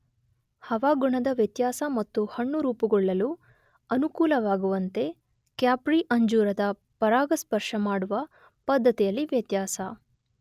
ಹವಾಗುಣದ ವ್ಯತ್ಯಾಸ ಮತ್ತು ಹಣ್ಣು ರೂಪುಗೊಳ್ಳಲು ಅನುಕೂಲವಾಗುವಂತೆ ಕ್ಯಾಪ್ರಿ ಅಂಜೂರದ ಪರಾಗಸ್ಪರ್ಶ ಮಾಡುವ ಪದ್ಧತಿಯಲ್ಲಿ ವ್ಯತ್ಯಾಸ